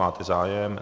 Máte zájem?